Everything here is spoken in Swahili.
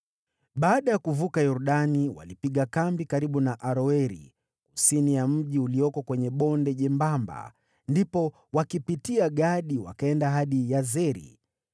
Baada ya kuvuka Yordani, walipiga kambi karibu na Aroeri, kusini ya mji ulioko kwenye bonde jembamba, ndipo wakipitia Gadi, wakaenda hadi Yazeri.